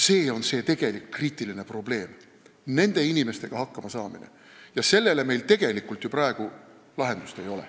See on tegelik kriitiline probleem, nende inimestega hakkama saamine, ja sellele meil ju praegu lahendust ei ole.